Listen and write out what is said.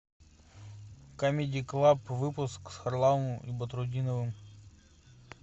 камеди клаб выпуск с харламовым и батрутдиновым